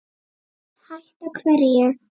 Hætta hverju?